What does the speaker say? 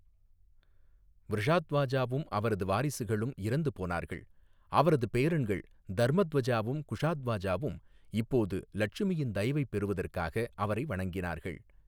விருஷாத்வாஜாவும் அவரது வாரிசுகளும் இறந்து போனார்கள், அவரது பேரன்கள் தர்மத்வஜாவும் குஷாத்வாஜாவும் இப்போது லட்சுமியின் தயவைப் பெறுவதற்காக அவரை வணங்கினார்கள்.